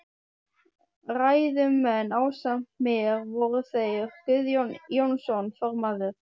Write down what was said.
Ræðumenn ásamt mér voru þeir Guðjón Jónsson formaður